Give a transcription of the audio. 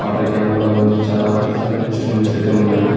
Water can కూడా ఉంది. చాలా సెలూన్ ఇన్స్ట్రుమెంట్స్ అయితే ఉన్నాయి.